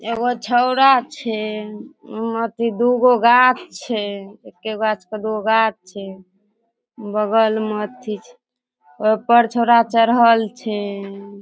एगो छोड़ा छै हूं अथी दू गो गाछ छै एके गाछ के दू गो गाछ छै बगल में अथी छै ओय पर छोड़ा चड़हल छै।